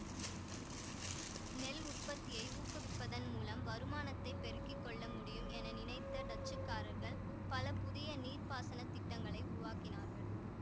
நெல் உற்பத்தியை ஊக்குவிப்பதன் மூலம் வருமானத்தைப் பெருக்கி கொள்ள முடியும் என நினைத்த டச்சுக்காரர்கள் பல புதிய நீர்ப்பாசன திட்டங்களை உருவாக்கினார்கள்